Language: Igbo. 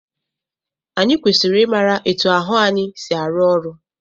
Anyị kwesịrị ị mara etu ahụ anyị si arụ ọrụ.